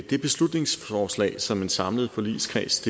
det beslutningsforslag som en samlet forligskreds